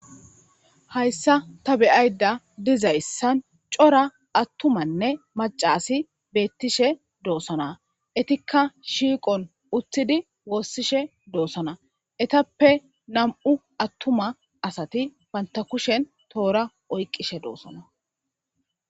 hayssa ta beyayda dizayssan cora attumanne macasi beettishe doosana itikka shiiqon uttidi woossishe doosana etappe nam7u attuma asati pantakushen toora oyqqishe doosana